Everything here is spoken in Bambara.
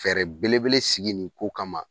Fɛɛrɛ belebele sigi nin ko kama